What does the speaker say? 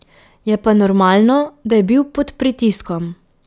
Je pa normalno, da je bil pod pritiskom.